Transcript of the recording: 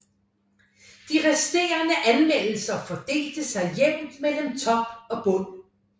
De resterende anmeldelser fordelte sig jævnt mellem top og bund